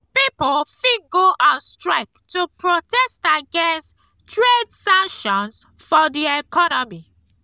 pipo fit go on strike to protest against trade sanctions for di economy